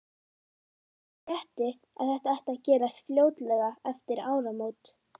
Ég frétti, að þetta ætti að gerast fljótlega eftir áramót